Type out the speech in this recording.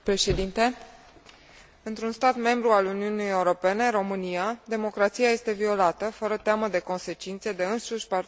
Într un stat membru al Uniunii Europene, România, democrația este violată, fără teamă de consecințe, de însuși partidul aflat la guvernare.